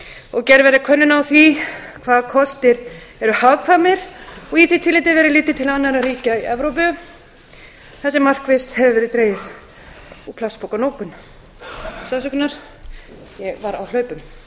og gerð verði könnun á því hvaða kostir eru hagkvæmir og í því tilliti verði litið til annarra ríkja í evrópu þar sem markvisst hefur verið dregið úr plastpokanotkun ég